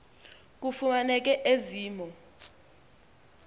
kufumaneke ezi mo